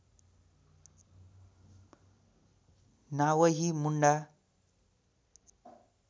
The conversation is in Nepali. नावहि मुण्डा